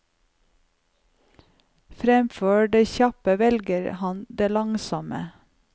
Fremfor det kjappe velger han det langsomme.